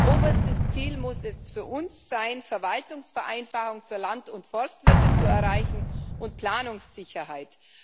Oberstes Ziel muss es für uns sein, Verwaltungsvereinfachung für Land und Forstwirte zu erreichen und Planungssicherheit.